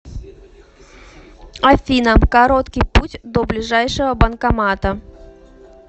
афина короткий путь до ближайшего банкомата